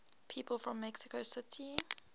people from mexico city